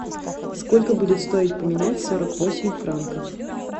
сколько будет стоить поменять сорок восемь франков